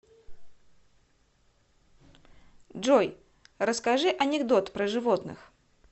джой расскажи анекдот про животных